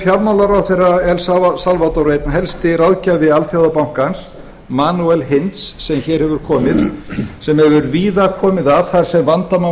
fjármálaráðherra el salvador einn helsti ráðgjafi alþjóðabankans manuel eins sem hér hefur komið sem hefur víðar komið að þar sem vandamál